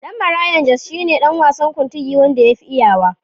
Ɗan Marayan Jos shi ne ɗan wasan Kuntigi wanda yafi iyawa.